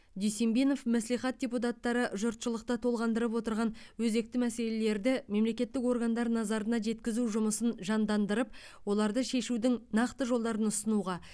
дүйсенбинов мәслихат депутаттары жұртшылықты толғандырып отырған өзекті мәселелерді мемлекеттік органдар назарына жеткізу жұмысын жандандырып оларды шешудің нақты жолдарын ұсынуға